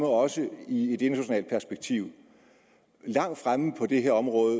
også i et internationalt perspektiv langt fremme på det her område